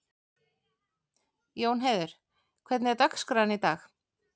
Jónheiður, hvernig er dagskráin í dag?